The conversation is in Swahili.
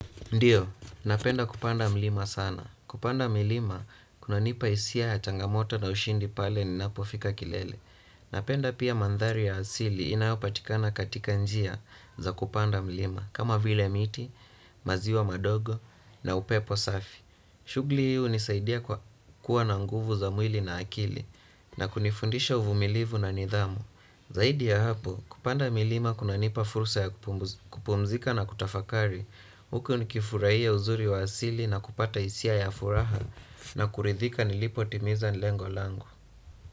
Ndiyo, napenda kupanda mlima sana. Kupanda milima, kuna nipa isia ya changamoto na ushindi pale ninapofika kilele. Napenda pia mandhari ya asili inayopatikana katika njia za kupanda mlima. Kama vile miti, maziwa madogo na upepo safi. Shugli hii hunisaidia kwa kuwa na nguvu za mwili na akili na kunifundisha uvumilivu na nidhamu. Zaidi ya hapo, kupanda milima kuna nipa fursa ya kupumzika na kutafakari. Huku nikifuraia uzuri wa asili na kupata isia ya furaha na kuridhika nilipo timiza lengolangu.